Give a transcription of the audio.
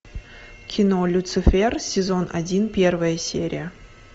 кино люцифер сезон один первая серия